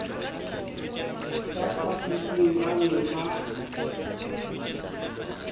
ka phaphosing ba ne ba